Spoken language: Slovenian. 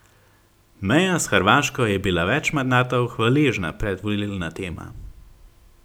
Meja s Hrvaško je bila več mandatov hvaležna predvolilna tema.